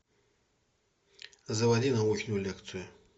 заводи научную лекцию